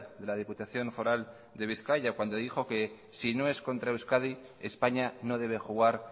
de la diputación foral de bizkaia cuando dijo que si no es contra euskadi españa no debe jugar